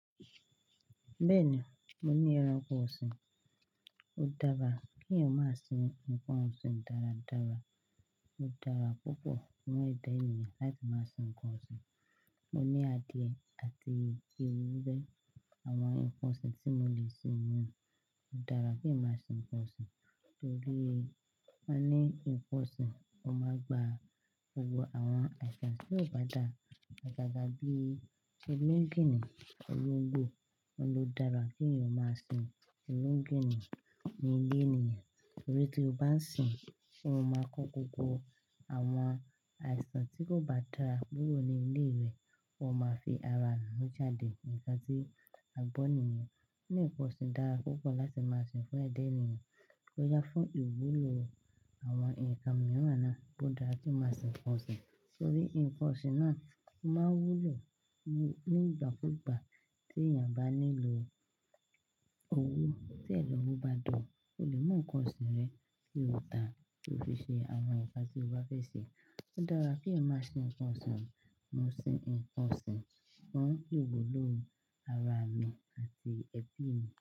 Bẹ́ẹ̀ni, mo ní ẹranko ọ̀sìn. Ó dára kí èèyàn máa sin nǹkan ọ̀sìn dáradára. Ó dára púpọ̀ fún ẹ̀dá èèyàn láti máa sin nǹkan ọ̀sìn. Mo ní adìẹ àti ewúrẹ́, àwọn nǹkan ọ̀sìn tí mo lè sin wọ́n. Ó dára kí èèyàn máa sin nǹkan ọ̀sìn torí a ní nǹkan ọ̀sìn, ó máa gba gbogbo àwọn àìsàn tí kò bá dára. Agaga ga bí i sẹ́mẹ́ńgìnì, olóńgbò. Ó ló dára kí èèyàn máa sin sẹ́mẹ́ńgìnì ní ilé èèyàn torí tí o bá ń sin, ó máa kọ́kọ́ wo àwọn àìsàn tí kò bá dára kuro ní ilé rẹ, ó máa fi ara rẹ̀ mú jáde. A tí a gbọ́ nìyẹn. Ní nǹkan ọ̀sìn dára púpọ̀ láti máa sin fún ẹ̀dá èèyàn, ó yá fún ìwúlò àwọn nkan mìíràn náà. Ó dára kí à máa sin nǹkan ọ̀sìn torí nǹkan ọ̀sìn náà máa wúlò ní ìgbàkúùgbà tí èèyàn bá nílò owó. Tí ẹ̀lọ́wọ́ bá dọ̀, o lè mú nǹkan ọ̀sìn rẹ kí lòòtá kí o fi ṣe àwọn nkan tí o bá fẹ́ ṣe. Ó dára kí èèyàn máa sin nǹkan ọ̀sìn. Mo sin nǹkan ọ̀sìn, wọ́n yóò wúlò ara mi àti ẹbí mi.